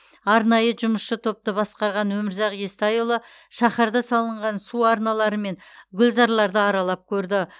арнайы жұмысшы топты басқарған өмірзақ естайұлы шаһарда салынған су арналары мен гүлзарларды аралап көрді